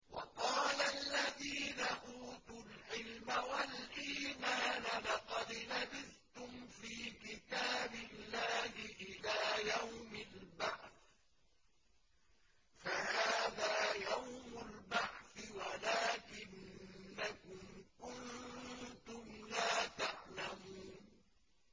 وَقَالَ الَّذِينَ أُوتُوا الْعِلْمَ وَالْإِيمَانَ لَقَدْ لَبِثْتُمْ فِي كِتَابِ اللَّهِ إِلَىٰ يَوْمِ الْبَعْثِ ۖ فَهَٰذَا يَوْمُ الْبَعْثِ وَلَٰكِنَّكُمْ كُنتُمْ لَا تَعْلَمُونَ